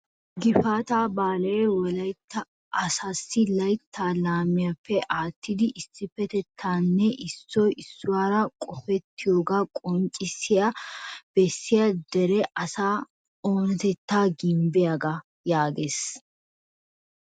" gifaata baale Wolaytta asassi laytta laammiyappe aattidi issippetettanne issoy issuwaara qopettiyooga qonccissi bessiya dere asaa onatettaa gimbbiyaagaa " yaagees.